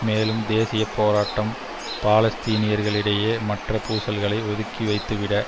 மேலும் தேசிய போராட்டம் பாலஸ்தீனியர்களிடையே மற்றய பூசல்களை ஒதுக்கிவைத்துவிட